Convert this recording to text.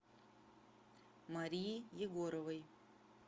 марии егоровой